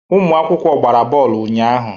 Ụmụ akwụkwọ gbara bọọlụ ụnyaahụ.